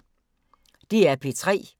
DR P3